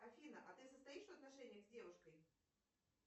афина а ты состоишь в отношениях с девушкой